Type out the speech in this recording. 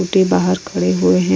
Scooty बाहर खड़े हुए हैं।